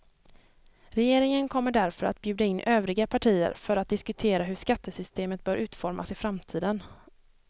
Regeringen kommer därför att bjuda in övriga partier för att diskutera hur skattesystemet bör utformas i framtiden.